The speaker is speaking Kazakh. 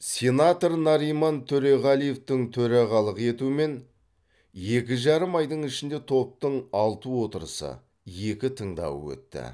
сенатор нариман төреғалиевтің төрағалық етуімен екі жарым айдың ішінде топтың алты отырысы екі тыңдауы өтті